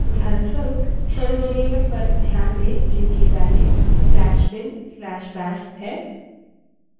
उदाहरणस्वरूप